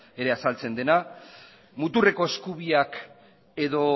azaltzen dena muturreko eskubiak edo